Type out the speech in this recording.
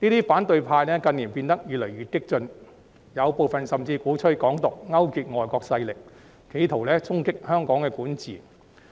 反對派近年變得越來越激進，部分人甚至鼓吹"港獨"、勾結外國勢力，企圖衝擊香港管治。